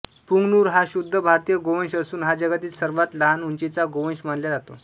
पुंगनुर हा शुद्ध भारतीय गोवंश असून हा जगातील सर्वात लहान उंचीचा गोवंश मानल्या जातो